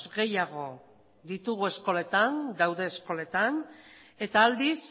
gehiago ditugu eskoletan daude eskoletan eta aldiz